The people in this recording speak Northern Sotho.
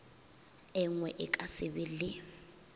engwe a ka sebe le